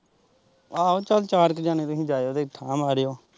ਆਹੋ ਚੱਲ ਚਾਰ ਕ ਜਣੇ ਤੁਹੀਂ ਜਾਈਉ ਤੇ ਠਾ ਮਾਰੇ ਓ।